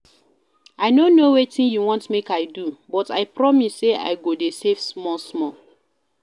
I no know wetin you want make I do but I promise say I go dey save small small